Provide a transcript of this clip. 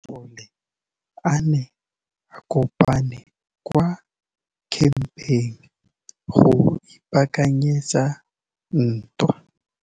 Masole a ne a kopane kwa kampeng go ipaakanyetsa ntwa.